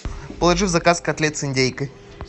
положи в заказ котлет с индейкой